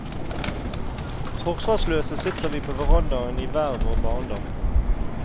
Forsvarsløse sitter vi på verandaen i hver vår barndom.